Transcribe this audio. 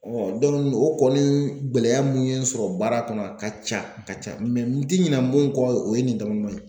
o kɔni gɛlɛya mun ye n sɔrɔ baara kɔnɔ a ka ca, a ka ca n ti ɲinɛ mun kɔ o ye nin damadɔ ye.